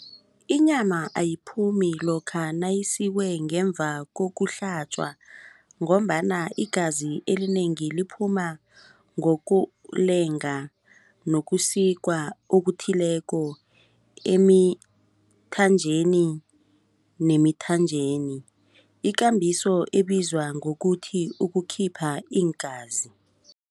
Inyama ayiphumi lokha nayisikwe ngemva kokuhlatjwa ngombana igazi elinengi liphuma ngokulenga nokusikwa okuthileko emithanjeni nemithanjeni ikambiso ebizwa ngokuthi ukukhipha iingazi.